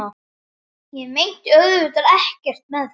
Ég meinti auðvitað ekkert með því.